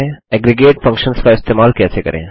aggregate functions का इस्तेमाल कैसे करें